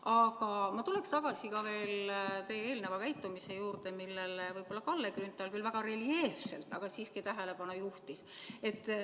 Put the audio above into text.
Aga ma tuleksin tagasi veel ka teie eelneva käitumise juurde, millele Kalle Grünthal küll väga reljeefselt, aga siiski tähelepanu juhtis.